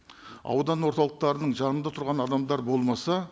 аудан орталықтарының жаңында тұрған адамдар болмаса